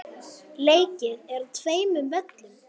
Leikið er á tveimur völlum.